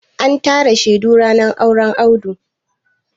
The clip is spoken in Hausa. An tara shaidu ranar auren Audu.